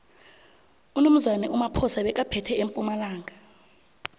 unomzane umaphosa bekaphethe empumalanga